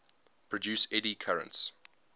produce eddy currents